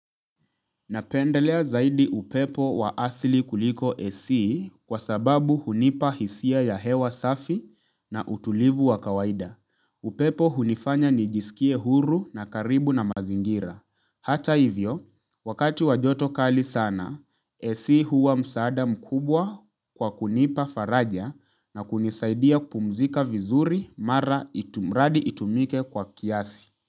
Napendelea zaidi upepo wa asili kuliko AC kwa sababu hunipa hisia ya hewa safi na utulivu wa kawaida. Upepo hunifanya nijisikie huru na karibu na mazingira. Hata hivyo, wakati wa joto kali sana, AC huwa msaada mkubwa kwa kunipa faraja na kunisaidia kupumzika vizuri mradi itumike kwa kiasi.